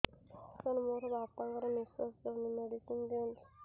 ସାର ମୋର ବାପା ଙ୍କର ନିଃଶ୍ବାସ ଯାଉନି ମେଡିସିନ ଦିଅନ୍ତୁ